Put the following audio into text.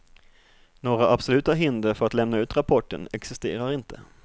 Några absoluta hinder för att lämna ut rapporten existerar inte.